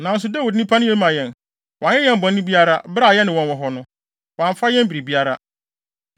Nanso Dawid nnipa no ye ma yɛn. Wɔanyɛ yɛn bɔne biara. Bere a yɛne wɔn wɔ hɔ no, wɔamfa yɛn biribiara.